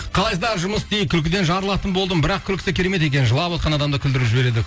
қалайсыздар жұмыс істейін күлкіден жарылатын болдым бірақ күлкісі керемет екен жылавотқан адамды күлдіріп жібереді